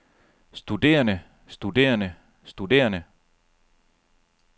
studerende studerende studerende